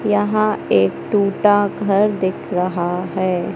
यहां एक टूटा घर दिख रहा है।